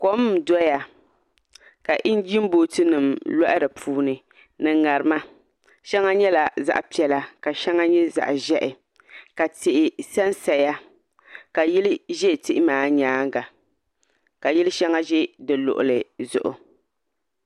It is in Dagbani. Kom n doya ka injin booti nim loɣi di puuni ni ŋarima shɛŋa nyɛla zaɣ piɛla ka shɛŋa nyɛ zaɣ ʒiɛhi ka tihi sansaya ka yili ʒɛ tihi maa nyaanga ka yili shɛŋa ʒɛ di luɣuli zuɣu